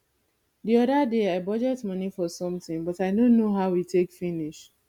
the other day i budget money for something but i no know how e take finish